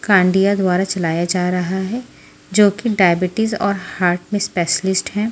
खंडिया द्वारा चलाया जा रहा हैं जोकि डायबिटीज और हार्ट में स्पेशलिस्ट हैं।